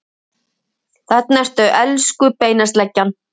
Þarna ertu, elsku beinasleggjan!